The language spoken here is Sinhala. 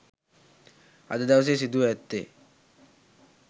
අද දවසේ සිදුව ඇත්තේ